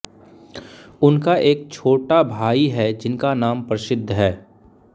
उनका एक छोटा भाई है जिनका नाम प्रसिद्ध है